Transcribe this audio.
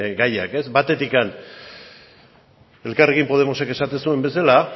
gaiak batetik elkarrekin podemosek esaten zuen bezala